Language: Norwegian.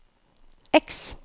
X